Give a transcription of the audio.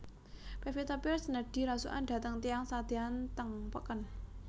Pevita Pearce nedhi rasukan dhateng tiyang sadean teng peken